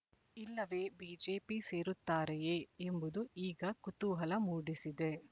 ಇಲ್ಲವೇ ಬಿಜೆಪಿ ಸೇರುತ್ತಾರೆಯೇ ಎಂಬುದು ಈಗ ಕುತೂಹಲ ಮೂಡಿಸಿದೆ